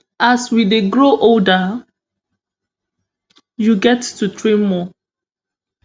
as we dey grow older you get to train more